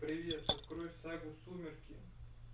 привет открой сагу сумерки